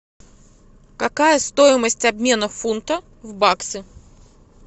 какая стоимость обмена фунта в баксы